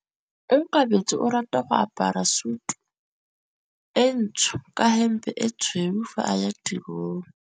Onkabetse o rata go apara sutu e ntsho ka hempe e tshweu fa a ya tirong.